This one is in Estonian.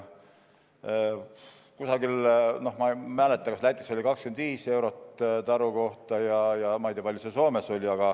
Kusagil, ma ei mäleta, kas Lätis, oli 25 eurot taru kohta, ja ma ei tea, kui palju see Soomes oli.